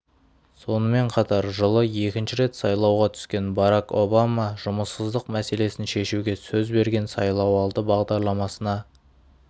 сонымен қатар жылы екінші рет сайлауға түскен барак обама жұмыссыздық мәселесін шешуге сөз берген сайлауалды бағдарламасына